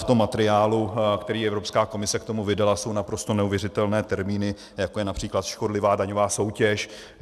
V tom materiálu, který Evropská komise k tomu vydala, jsou naprosto neuvěřitelné termíny, jako je například škodlivá daňová soutěž.